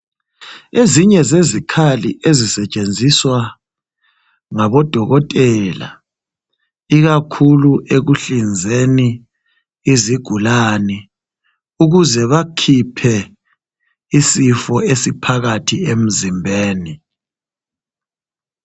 Ezinye zezikhali ezisetshenziswa ngodokotela ikakhulu ekuhlinzeni izigulane, ukuze bakhiphe isifo esiphakathi emzimbeni.